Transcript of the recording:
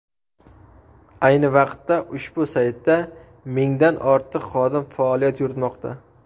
Ayni vaqtda ushbu saytda mingdan ortiq xodim faoliyat yuritmoqda.